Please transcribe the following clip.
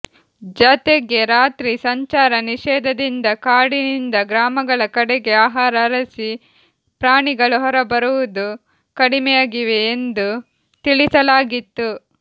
ಜತೆಗೆ ರಾತ್ರಿ ಸಂಚಾರ ನಿಷೇಧದಿಂದ ಕಾಡಿನಿಂದ ಗ್ರಾಮಗಳ ಕಡೆಗೆ ಆಹಾರ ಅರಿಸಿ ಪ್ರಾಣಿಗಳು ಹೊರ ಬರುವುದು ಕಡಿಮೆಯಾಗಿವೆ ಎಂದೂ ತಿಳಿಸಲಾಗಿತ್ತು